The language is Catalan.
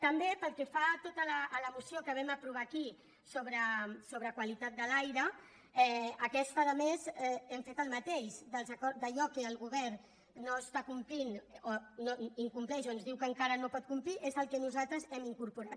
també pel que fa a la moció que vam aprovar aquí sobre qualitat de l’aire aquesta a més hem fet el mateix allò que el govern no està complint o incompleix o ens diu que encara no pot complir és el que nosaltres hem incorporat